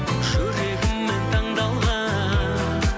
жүрегіммен таңдалған